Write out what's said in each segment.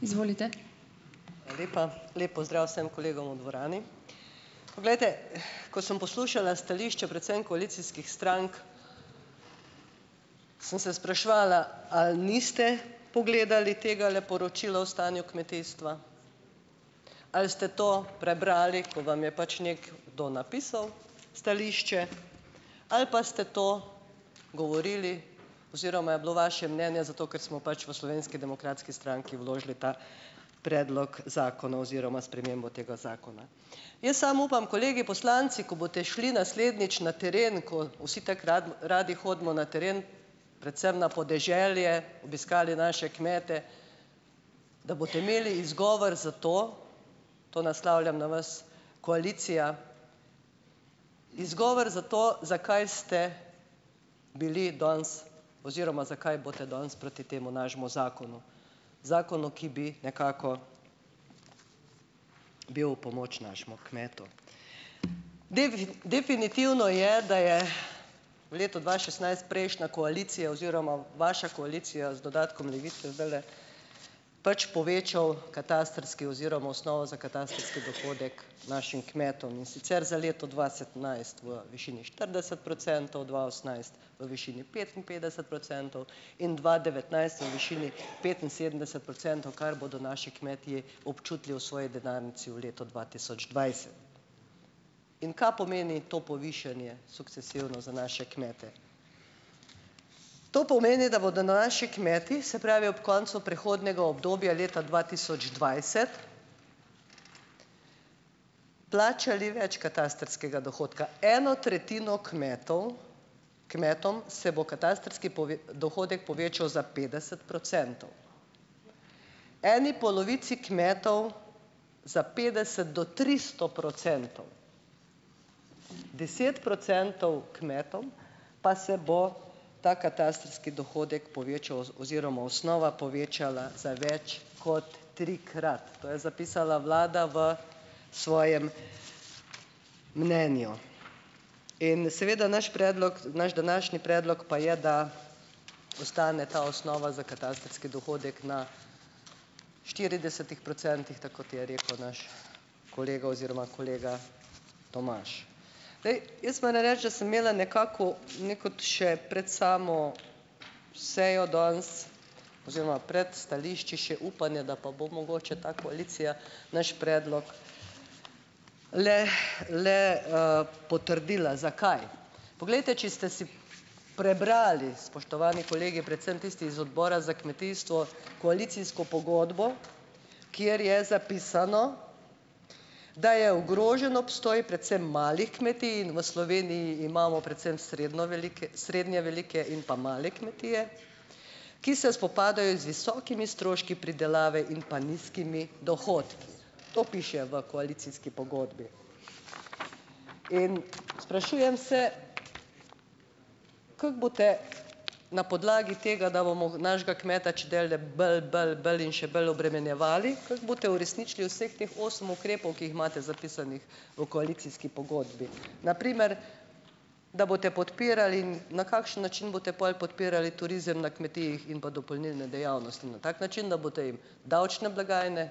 Hvala lepa. Lep pozdrav vsem kolegom v dvorani. Poglejte, ko sem poslušala stališče predvsem koalicijskih strank, sem se spraševala, ali niste pogledali tegale poročila o stanju kmetijstva, ali ste to prebrali, ko vam je pač nekdo napisal stališče, ali pa ste to govorili oziroma je bilo vaše mnenje zato, ker smo pač v Slovenski demokratski stranki vložili ta predlog zakona oziroma spremembo tega zakona. Jaz samo upam, kolegi poslanci, ko boste šli naslednjič na teren, ko vsi tako radi hodimo na teren, predvsem na podeželje, obiskali naše kmete, da boste imeli izgovor za to - to naslavljam na vas koalicija, izgovor za to, zakaj ste bili danes oziroma zakaj boste danes proti temu našemu zakonu, zakonu, ki bi nekako bil v pomoč našemu kmetu. definitivno je, da je v letu dva šestnajst prejšnja koalicija oziroma vaša koalicija z dodatkom Levice zdajle, pač povečal katastrski oziroma osnovo za katastrski dohodek našim kmetom, in sicer za leto dva sedemnajst v višini štirideset procentov, dva osemnajst v višini petinpetdeset procentov, in dva devetnajst v višini petinsedemdeset procentov, kar bodo naši kmetje občutili v svoji denarnici v letu dva tisoč dvajset. In ka pomeni to povišanje, sukcesivno za naše kmete? To pomeni, da bodo naši kmeti, se pravi, ob koncu prehodnega obdobja leta dva tisoč dvajset plačali več katastrskega dohodka. Eno tretjino kmetov kmetom se bo katastrski dohodek povečal za petdeset procentov. Eni polovici kmetov za petdeset do tristo procentov, deset procentov kmetom pa se bo ta katastrski dohodek povečal oziroma osnova povečala za več kot trikrat, to je zapisala vlada v svojem mnenju. In seveda naš predlog, naš današnji predlog pa je, da ostane ta osnova za katastrski dohodek na štiridesetih procentih, tako kot je rekel naš kolega oziroma kolega Tomaž. Glej, jaz moram reči, da sem imela nekako nekako še pred samo sejo danes oziroma pred stališči še upanje, da pa bo mogoče ta koalicija naš predlog le le potrdila. Zakaj? Poglejte, če ste si prebrali, spoštovani kolegi, predvsem tisti z Odbora za kmetijstvo, koalicijsko pogodbo, kjer je zapisano, da je ogrožen obstoj predvsem malih kmetij, in v Sloveniji imamo predvsem srednje velike srednje velike in pa male kmetije, ki se spopadajo z visokimi stroški pridelave in pa nizkimi dohodki. To piše v koalicijski pogodbi. In sprašujem se, kako boste na podlagi tega, da bomo našega kmeta čedalje bolj, bolj, bolj in še bolj obremenjevali, kako boste uresničili vseh teh osem ukrepov, ki jih imate zapisanih v koalicijski pogodbi. Na primer, da boste podpirali in na kakšen način boste pol podpirali turizem na kmetijah in pa dopolnilne dejavnosti. Na tak način, da boste jim davčne blagajne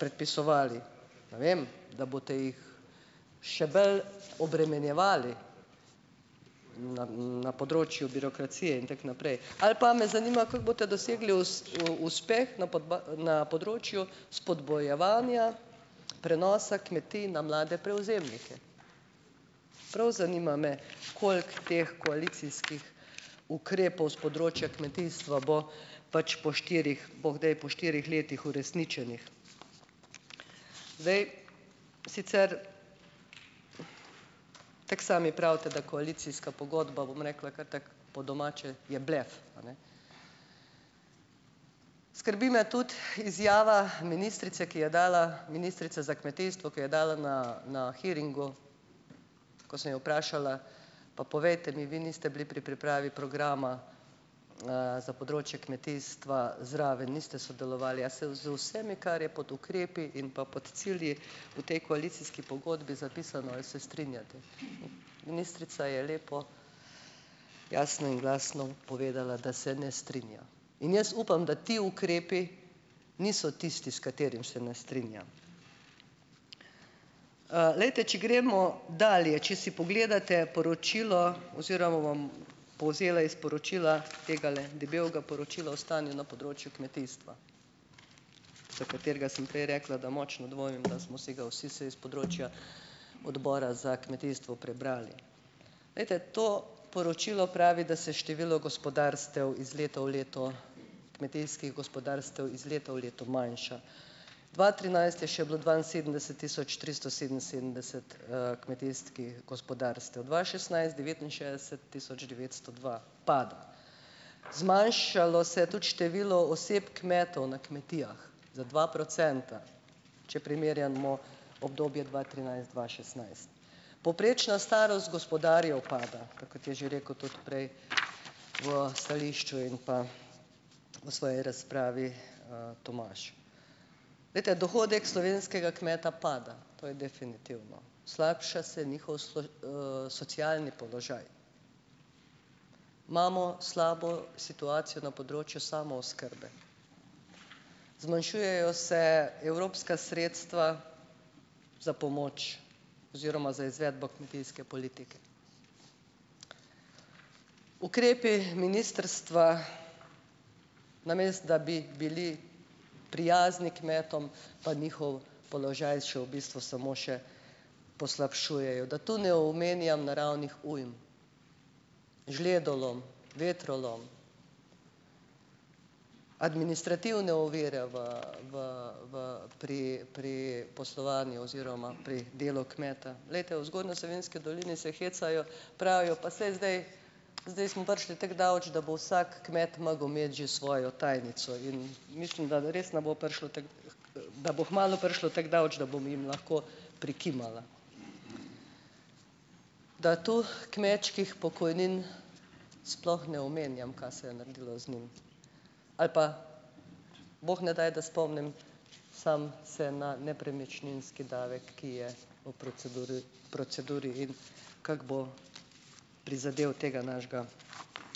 predpisovali. Ne vem. Da boste jih še bolj obremenjevali na na področju birokracije, in tako naprej. Ali pa, me zanima, kako boste dosegli uspeh na na področju spodbujevanja prenosa kmetij na mlade prevzemnike. Prav zanima me, koliko teh koalicijskih ukrepov s področja kmetijstva bo pač po štirih, bo kdaj po štirih letih uresničenih. Zdaj, sicer, tako sami pravite, da koalicijska pogodba, bom rekla kar tako po domače, je blef, a ne. Skrbi me tudi izjava ministrice, ki je dala, ministrica za kmetijstvo, ki je dala na na hearingu, ko sem jo vprašala, pa povejte mi, vi niste bili pri pripravi programa za področje kmetijstva zraven, niste sodelovali, a se z vsemi, kar je pod ukrepi in pa pod cilji v tej koalicijski pogodbi zapisano, ali se strinjate, ministrica je lepo jasno in glasno povedala, da se ne strinja. In jaz upam, da ti ukrepi niso tisti, s katerimi se ne strinja. glejte, če gremo dalje. Če si pogledate poročilo oziroma vam povzela iz poročila, tegale debelega poročila o stanju na področju kmetijstva, za katerega sem prej rekla, da močno dvomim, da smo si ga vsi vsaj iz področja Odbora za kmetijstvo prebrali. Glejte, to poročilo pravi, da se število gospodarstev iz leta v leto, kmetijskih gospodarstev iz leta v leto manjša. Dva trinajst je še bilo dvainsedemdeset tisoč tristo sedeminsedemdeset kmetijskih gospodarstev, dva šestnajst - devetinšestdeset tisoč devetsto dva, pada. Zmanjšalo se je tudi število oseb, kmetov na kmetijah, za dva procenta, če primerjamo obdobje dva trinajst dva šestnajst. Povprečna starost gospodarjev pada, kakor je že rekel tudi prej v stališču in pa v svoji razpravi Tomaž. Glejte, dohodek slovenskega kmeta pada. To je definitivno. Slabša se njihov socialni položaj. Imamo slabo situacijo na področju samooskrbe. Zmanjšujejo se evropska sredstva za pomoč oziroma za izvedbo kmetijske politike. Ukrepi ministrstva, namesto da bi bili prijazni kmetom, pa njihov položaj še v bistvu samo še poslabšujejo. Da to ne omenjam naravnih ujm, žledolom, vetrolom, administrativne ovire v v v pri pri poslovanju oziroma pri delu kmeta. Glejte, v Zgornji Savinjski dolini se hecajo, pravijo, pa saj zdaj zdaj smo prišli tako daleč, da bo vsak kmet mogel imeti že svojo tajnico. In mislim, da res ne bo prišlo tako da bo kmalu prišlo tako daleč, da bom jim lahko prikimala. Da tu kmečkih pokojnin sploh ne omenjam, ka se je naredilo z njimi, ali pa, bog ne daj, da spomnim samo se na nepremičninski davek, ki je v proceduri proceduri, in kako bo prizadel tega našega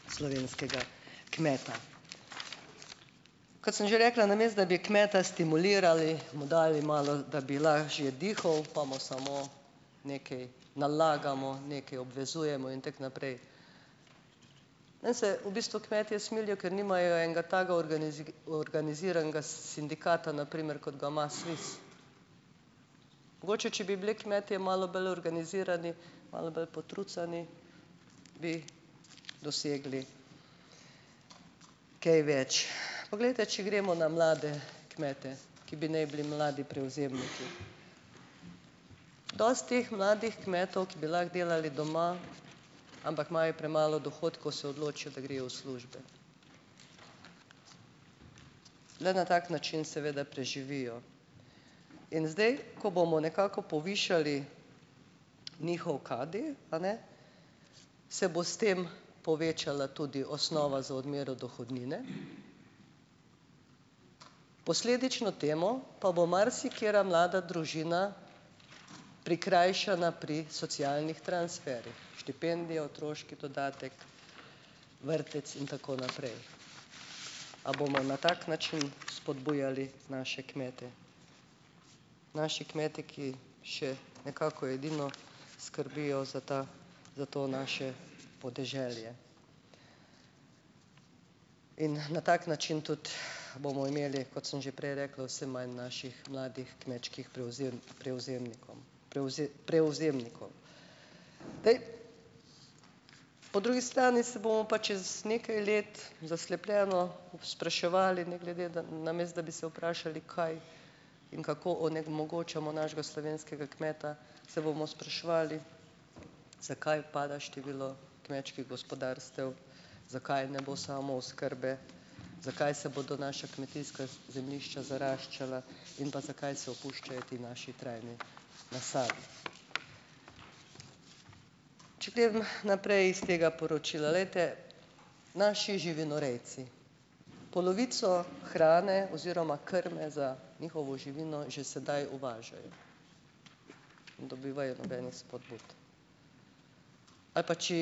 slovenskega kmeta. Kot sem že rekla, namesto da bi kmeta stimulirali, mu dali malo, da bi lažje dihal, pa mu samo nekaj nalagamo, nekaj obvezujemo in tako naprej. Meni se v bistvu kmetje smilijo, ker nimajo enega takega organiziranega sindikata, na primer kot ga ima SVIZ. Mogoče če bi bili kmetje malo bolj organizirani, malo bolj potrucani, bi dosegli kaj več. Poglejte, če gremo na mlade kmete, ki bi naj bili mladi prevzemniki. Dosti teh mladih kmetov, ki bi lahko delali doma, ampak imajo premalo dohodkov, se odločijo, da grejo v službe. Le na tak način, seveda, preživijo. In zdaj ko bomo nekako povišali njihov KD, a ne, se bo s tem povečala tudi osnova za odmero dohodnine, posledično temu pa bo marsikatera mlada družina prikrajšana pri socialnih transferih, štipendijo, otroški dodatek, vrtec in tako naprej. A bomo na tak način spodbujali naše kmete? Naši kmeti, ki še nekako edino skrbijo za ta za to naše podeželje. In na tak način tudi bomo imeli, kot sem že prej rekla, vse manj naših mladih kmečkih prevzemnikom, prevzemnikov. Dej. Po drugi strani se bomo pa čez nekaj let zaslepljeno spraševali, ne glede da, namesto da bi se vprašali, kaj in kako onemogočamo našega slovenskega kmeta, se bomo spraševali zakaj pada število kmečkih gospodarstev, zakaj ne bo samooskrbe, zakaj se bodo naša kmetijska zemljišča zaraščala, in pa zakaj se opuščajo ti naši trajni nasadi. Če grem naprej iz tega poročila. Glejte, naši živinorejci, polovico hrane oziroma krme za njihovo živino že sedaj uvažajo. Ne dobivajo nobenih vzpodbud. Ali pa če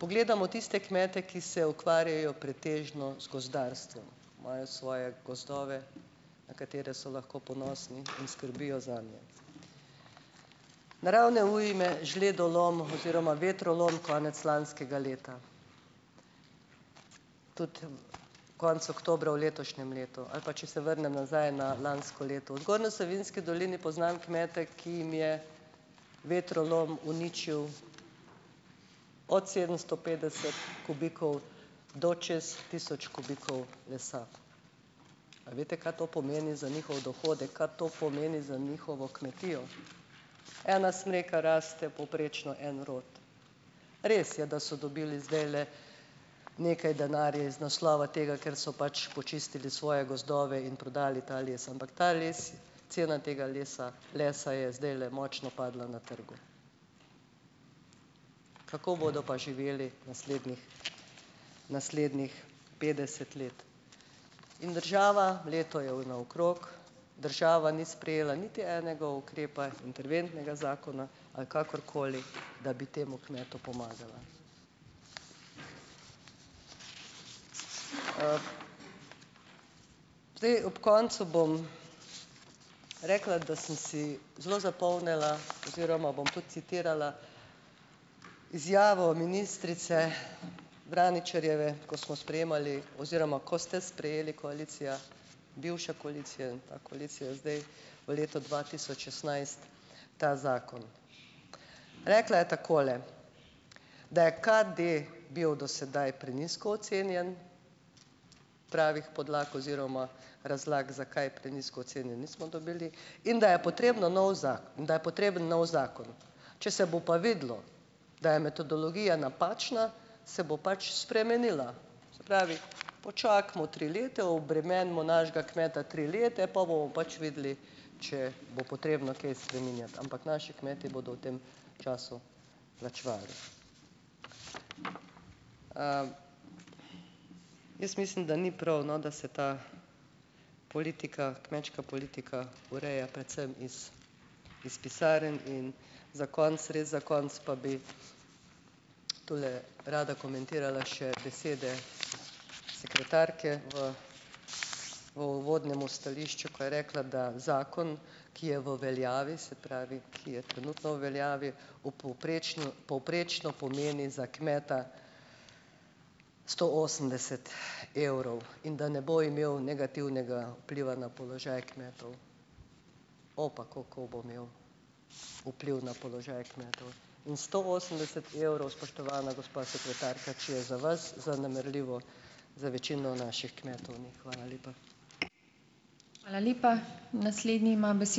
pogledamo tiste kmete, ki se ukvarjajo pretežno z gozdarstvom, imajo svoje gozdove, na katere so lahko ponosni, in skrbijo zanje. Naravne ujme, žledolom oziroma vetrolom konec lanskega leta. Tudi konec oktobra v letošnjem letu, ali pa če se vrnem nazaj na lansko leto. V Zgornji Savinjski dolini poznam kmete, ki jim je vetrolom uničil od sedemsto petdeset kubikov do čez tisoč kubikov lesa. A veste, ka to pomeni za njihov dohodek? Kaj to pomeni za njihovo kmetijo? Ena smreka raste povprečno en rod. Res je, da so dobili zdajle nekaj denarja iz naslova tega, ker so pač počistili svoje gozdove in prodali ta les. Ampak ta les, cena tega lesa lesa je zdajle močno padla na trgu. Kako bodo pa živeli naslednjih naslednjih petdeset let? In država, leto je naokrog, država ni sprejela niti enega ukrepa, interventnega zakona ali kakorkoli, da bi temu kmetu pomagala. Zdaj, ob koncu bom rekla, da sem si zelo zapomnila oziroma bom tudi citirala izjavo ministrice Vraničarjeve, ko smo sprejemali oziroma ko ste sprejeli, koalicija, bivša koalicija in ta koalicija zdaj, v letu dva tisoč šestnajst ta zakon. Rekla je takole, da je KD bil do sedaj prenizko ocenjen. Pravih podlag oziroma razlag, zakaj je prenizko ocenjen, nismo dobili. In da je potrebno nov in da je potreben novi zakon. Če se bo pa videlo, da je metodologija napačna, se bo pač spremenila. Se pravi, počakajmo tri leta, obremenimo našega kmeta tri leta, pol bomo pač videli, če bo potrebno kaj spreminjati. Ampak naši kmetje bodo v tem času plačevali. Jaz mislim, da ni prav, no, da se ta politika, kmečka politika, ureja predvsem iz iz pisarn in za konec, res za konec, pa bi tule rada komentirala še besede sekretarke v v uvodnem stališču, ko je rekla, da zakon, ki je v veljavi, se pravi, ki je trenutno v veljavi, v povprečno povprečno pomeni za kmeta sto osemdeset evrov in da ne bo imel negativnega vpliva na položaj kmetov. O pa kako bo imel vpliv na položaj kmetov. In sto osemdeset evrov, spoštovana sekretarka, če je za vas zanemarljivo, za večino naših kmetov ni. Hvala lepa.